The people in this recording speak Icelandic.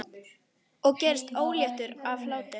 Ég gerist óléttur af hlátri.